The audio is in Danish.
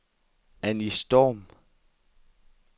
Anny Storm